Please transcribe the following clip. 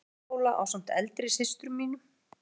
Öldutúnsskóla ásamt eldri systrum mínum.